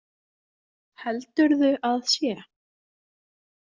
Heldurðu að sé?